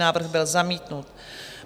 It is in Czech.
Návrh byl zamítnut.